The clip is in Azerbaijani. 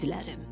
İqidlərim.